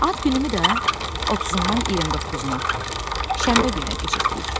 Ad günümü də 30-undan 29-una Şənbə gününə keçirtdik.